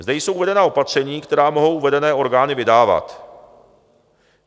Zde jsou uvedena opatření, která mohou uvedené orgány vydávat.